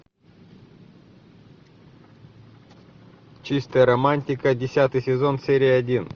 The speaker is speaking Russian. чистая романтика десятый сезон серия один